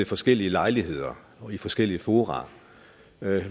forskellige lejligheder og i forskellige fora